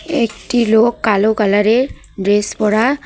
একটি লোক কালো কালারের ড্রেস পরা।